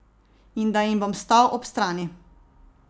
In da jim bom stal ob strani.